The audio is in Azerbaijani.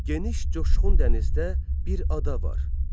Geniş coşqun dənizdə bir ada var.